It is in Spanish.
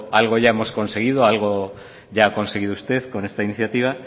algo ya hemos conseguido algo ya ha conseguido usted con esta iniciativa